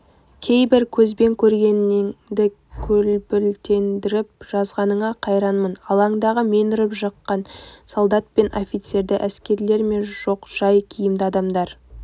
кейбір көзбен көргеніңді көрбілтелендіріп жазғаныңа қайранмын алаңдағы мен ұрып-жыққан солдат пен офицерді әскерилер ме жоқ жай киімді адамдар